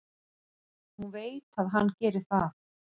Hún veit að hann gerir það.